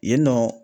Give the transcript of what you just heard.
Yen nɔ